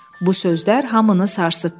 Bu sözlər hamını sarsıtdı.